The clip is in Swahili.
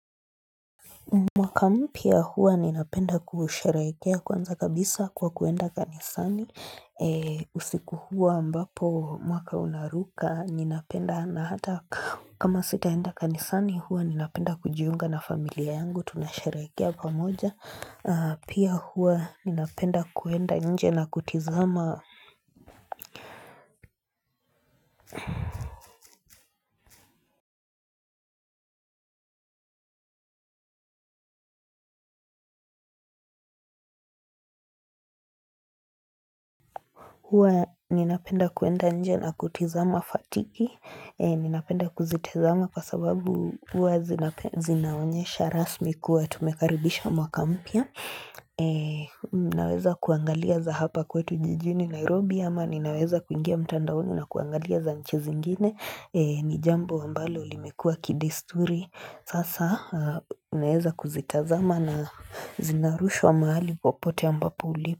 Mwaka mpya hua ninapenda kusherekea kwanza kabisa kwa kuenda kanisani. Usiku huu ambapo mwaka unaruka ninapenda na hata kama sitaenda kanisani hua ninapenda kujiunga na familia yangu tunasherekea pamoja. Pia hua ninapenda kuenda nje na kutizama kuenda nje na kutizama fatiki Ninapenda kuzitizama kwa sababu hua zinaonyesha rasmi kuwa tumekaribisha mwaka mpya Naweza kuangalia za hapa kwetu jijini Nairobi ama Ninaweza kuingia mtandaoni na kuangalia za nchi zingine ni jambo ambalo limekua kidesturi Sasa unaeza kuzitazama na zinarushwa mahali popote ambapo ulipo.